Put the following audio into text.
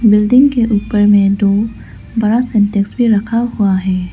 Building के ऊपर मे दो बड़ा सा टैंक्स भी रखा हुआ है।